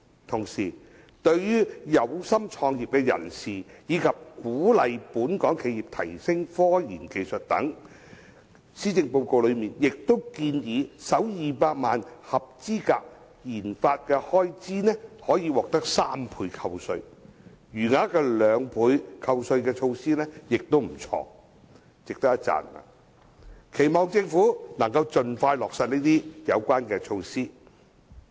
同時，為鼓勵有心創業人士及本港企業提升科研技術等，施政報告內亦建議首200萬元的合資格研發開支可獲3倍扣稅，餘額的兩倍扣稅措施也值得一讚，期望政府可以盡快落實。